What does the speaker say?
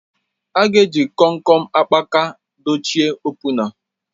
A ga-eji Kom kom akpaka dochie opuna